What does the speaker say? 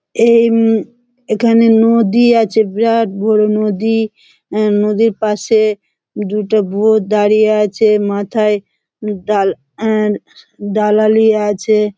এই এখানে নদী আছে বিরাট বড়ো নদী। নদীর পাশে দুটো বৌ দাঁড়িয়ে আছে। মাথায় ডালা নিয়ে আছে।